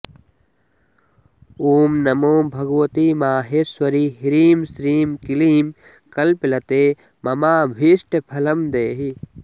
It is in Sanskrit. ॐ नमो भगवति माहेश्वरि ह्रीं श्रीं क्लीं कल्पलते ममाभीष्टफलं देहि